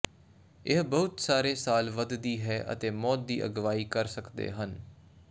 ਇਹ ਬਹੁਤ ਸਾਰੇ ਸਾਲ ਵੱਧ ਵਧਦੀ ਹੈ ਅਤੇ ਮੌਤ ਦੀ ਅਗਵਾਈ ਕਰ ਸਕਦੇ ਹਨ